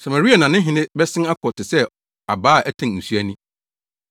Samaria na ne hene bɛsen akɔ te sɛ abaa a ɛtɛn nsu ani.